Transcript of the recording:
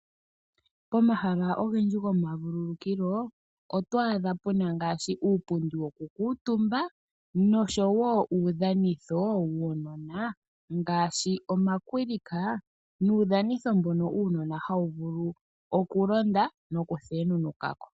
Pomahala ogendji gomavululukilo oto adha puna ngaashi uupundi woku kuutumba nosho wo uudhanitho wuunona ngaashi omakwilika nuudhanitho mbono uunona hawu vulu okulonda noku thenunuka ko.